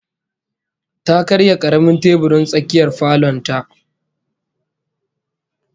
Ta karya karamin teburin tsakiyar falon ta